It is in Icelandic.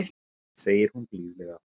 segir hún blíðlega.